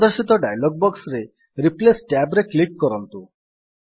ପ୍ରଦର୍ଶିତ ଡାୟଲଗ୍ ବକ୍ସରେ replace tab ରେ କ୍ଲିକ୍ କରନ୍ତୁ